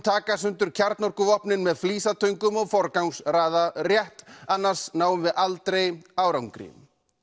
taka sundur kjarnorkuvopnin með flísatöngum og forgangsraða rétt annars náum við aldrei árangri